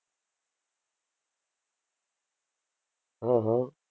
હા હા.